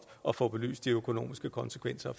at få belyst de økonomiske konsekvenser